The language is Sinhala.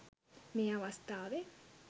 මේ අවස්ථාවේ